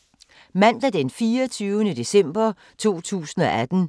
Mandag d. 24. december 2018